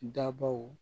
Dabaw